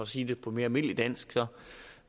sige det på mere almindelig dansk